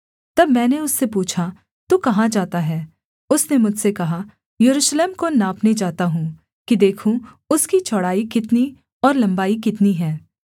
तब मैंने उससे पूछा तू कहाँ जाता है उसने मुझसे कहा यरूशलेम को नापने जाता हूँ कि देखूँ उसकी चौड़ाई कितनी और लम्बाई कितनी है